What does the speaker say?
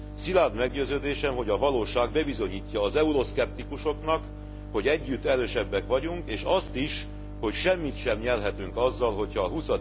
Szilárd meggyőződésem, hogy a valóság bebizonyítja az euroszkeptikusoknak, hogy együtt erősebbek vagyunk, és azt is, hogy semmit sem nyerhetünk azzal, hogyha a